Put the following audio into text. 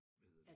Hvad hedder det